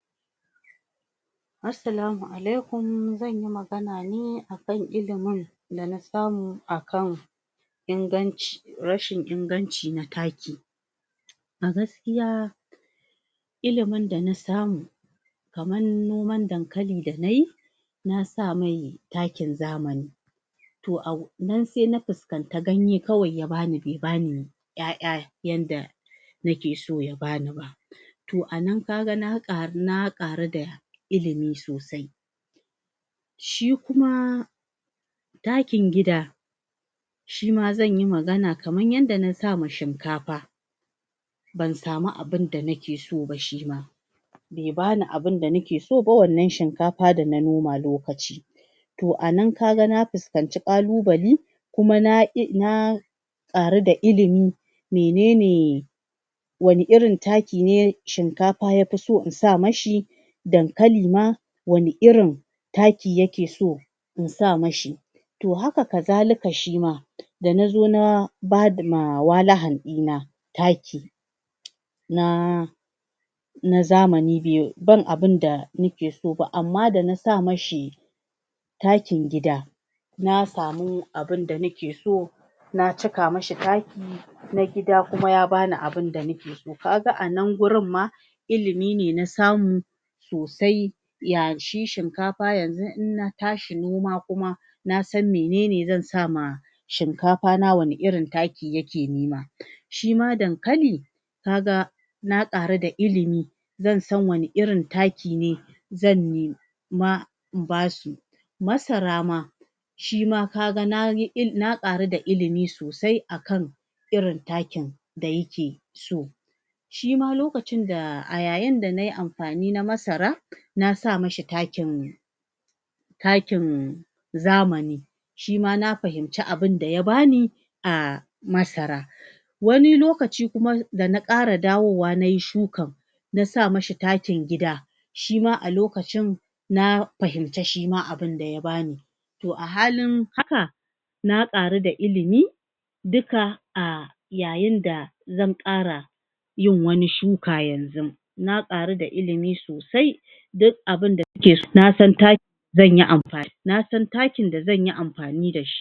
Assalama Allaikhum zan yi magana ne akan ilimin da na samu akan inganci, rashin inganci na takki a gaskiya ilimin da na samu kaman noman dankali da na yi na sa mai takkin zamani toh a na sai na fiskanta ganye kawai ya bani, be bani ƴaƴa yanda na ke so ya bani ba toh a nan ka ga na karu, na karu da ilimi sosai shi kuma takkin gida shi ma zan yi magana kaman yanda na sa ma shinkafa ban sama abunda nake so ba shima be bani abunda na ke so ba wannan shinkafa da na noma lokaci. Toh a nan ka ga na fiskance kallubali kuma na na karu da ilimi, menene wani irin takki ne shinkafa ya fi so in sa mashi dankali ma, wani irin takki ya ke so, in sa mashi toh haka kazalika shima da na zo na, ba ma walahan di na takki na na zamani biyu, ban abunda ni ke so ba, amma da na sa mashi takkin gida na samu abunda na ke so na cika mashi takki na gida kuma ya bani abunda na ke so ka ga a nan gurin ma ilimi ne na samu sosai, ya shi shinkafa yanzu in na tashi noma kuma, na san menene zan sa ma shinkafa na, wani irin takki ya ke nima shi ma dankali, ka ga na karu da ilimi zan san wana irin takki ne zan nima in basu masara ma shi ma ka ga na yi il na karu da ilimi sosai akan irin takkin da ya ke so shi ma lokacin da a yayen da na yi amfani na masara na sa mashi takkin takkin zamani shi ma na fahimce abunda ya bani a masara wanni lokaci kuma da na kara dawowa na yi shukan na sa mashi takkin gida, shima a lokacin na fahimce shi ma abunda ya bani toh a halin haka na karu da ilimi dukka a yayin da zan kara yin wani shuka yanzu na karu da ilimi sosai duk abunda na san takki zan yi amfan, na san takkin da zan yi amfani da shi.